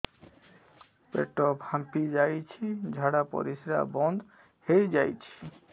ପେଟ ଫାମ୍ପି ଯାଇଛି ଝାଡ଼ା ପରିସ୍ରା ବନ୍ଦ ହେଇଯାଇଛି